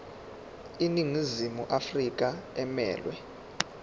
iningizimu afrika emelwe